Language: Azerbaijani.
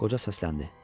Qoca səsləndi.